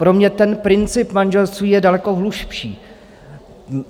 Pro mě ten princip manželství je daleko hlubší.